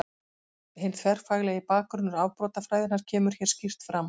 Hinn þverfaglegi bakgrunnur afbrotafræðinnar kemur hér skýrt fram.